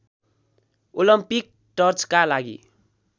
Olympic टर्चका लागि